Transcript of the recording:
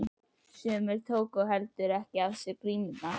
Sumir tóku heldur ekki af sér grímurnar.